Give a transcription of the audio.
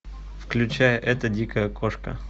включай эта дикая кошка